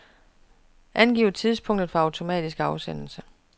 Angiv tidspunkt for automatisk afsendelse.